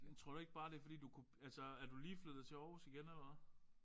Tror du ikke bare det er fordi du altså er du lige flyttet til Aarhus igen eller hvad?